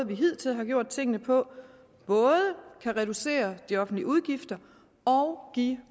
vi hidtil har gjort tingene på både kan reducere de offentlige udgifter og give